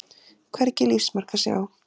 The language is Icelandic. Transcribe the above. Hvergi lífsmark að sjá.